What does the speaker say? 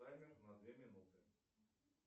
таймер на две минуты